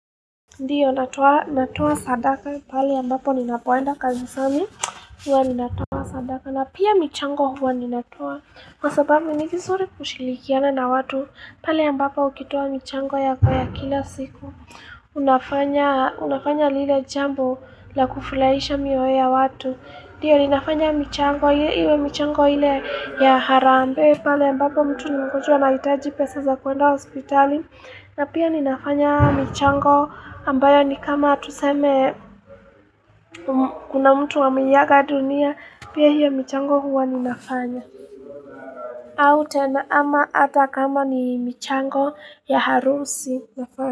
Ndiyo natoa natoa sadaka pale ambapo ninapoenda kanisani huwa ninatoa sadaka na pia michango huwa ninatoaa kwa sababu ni vizuri kushilikiana na watu pale ambapo ukitoa michango yako ya kila siku unafanya Unafanya lile jambo la kufulaisha mioyo ya watu ndiyo ninafanya michango hii iwe michango ile ya harambee Pahali ambapo mtu ni mgonjwa anahitaji pesa za kuenda hospitali na pia ninafanya michango ambayo ni kama tuseme kuna mtu ameiga dunia, pia hiyo michango huwa ninafanya. Au tena ama hata kama ni michango ya harusi nafanya.